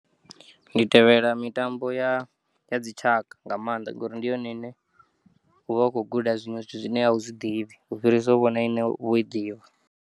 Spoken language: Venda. Ndi tevhela mitambo ya, ya dzitshaka nga maanḓa ngori ndi yone ine uvha ukho guda zwiṅwe zwithu zwine awu zwiḓivhi u fhirisa u vhona ine u vho iḓivha.